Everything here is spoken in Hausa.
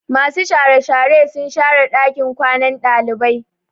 Masu share share sun share ɗakin kwanan ɗalibai.